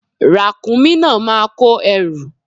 Ràkúnmí náà máa kó ẹrù.